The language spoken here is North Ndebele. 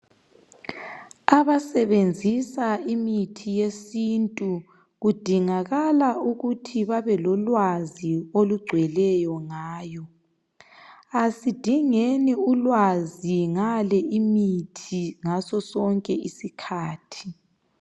Abasebenzisa imithi yesintu kudingakala ukuthi babelolwazi okugcweleyo ngayo. Asidingeni ulwazi ngale imithi ngaso sonke isikhathi.